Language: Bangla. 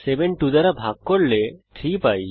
7 2 দ্বারা ভাগ করলে আমরা 3 পাই